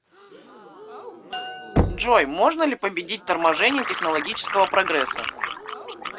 джой можно ли победить торможение технологического прогресса